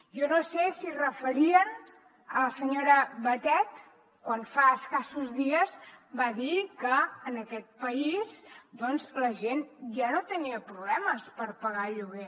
jo no sé si es referien a la senyora batet quan fa escassos dies va dir que en aquest país la gent ja no tenia problemes per pagar el lloguer